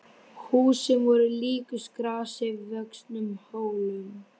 Húsin voru líkust grasi vöxnum hólum.